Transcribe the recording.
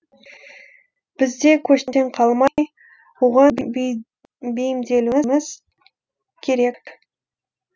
біз де көштен қалмай оған бейімделуіміз керек